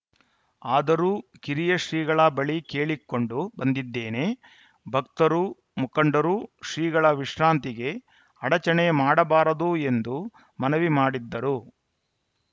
ಆದರೂ ಕಿರಿಯ ಶ್ರೀಗಳ ಬಳಿ ಕೇಳಿಕೊಂಡು ಬಂದಿದ್ದೇನೆ ಭಕ್ತರು ಮುಖಂಡರು ಶ್ರೀಗಳ ವಿಶ್ರಾಂತಿಗೆ ಅಡಚಣೆ ಮಾಡಬಾರದು ಎಂದು ಮನವಿ ಮಾಡಿದ್ದರು